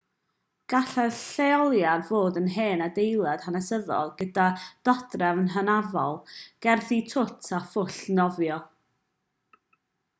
gallai'r lleoliad fod yn hen adeilad hanesyddol gyda dodrefn hynafol gerddi twt a phwll nofio